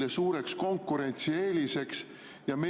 2023. aastal ükski maksumuudatus ei jõustu.